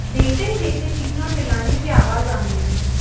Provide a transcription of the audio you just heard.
देखते ही देखते चीखने और चिल्लाने की आवाज आने लगी